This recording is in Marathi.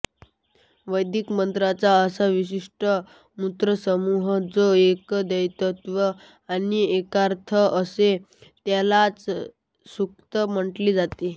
वैदिक मंत्रांचा असा विशिष्ट मंत्रसमूह जो एकदैवत्य आणि एकार्थ असेल त्यालाच सूक्त म्हटले जाते